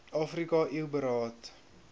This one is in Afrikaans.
afrika eu beraad